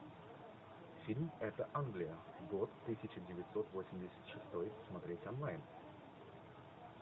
фильм это англия год тысяча девятьсот восемьдесят шестой смотреть онлайн